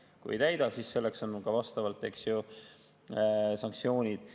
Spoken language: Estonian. Kui ei täida, siis selleks on ka vastavalt, eks ju, sanktsioonid.